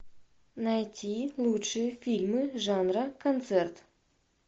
найти лучшие фильмы жанра концерт